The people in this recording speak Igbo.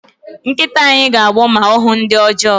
Nkịta anyị ga-agbọ ma ọ hụ ndị ọjọọ